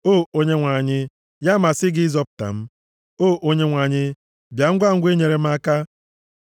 O Onyenwe anyị, ya masị gị ịzọpụta m; O Onyenwe anyị, bịa ngwangwa inyere m aka.